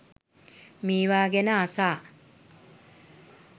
මේවා ගැන අසා